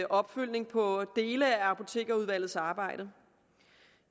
opfølgning på dele af apotekerudvalgets arbejde